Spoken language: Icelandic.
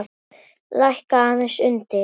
Lækka aðeins undir.